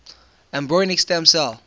embryonic stem cell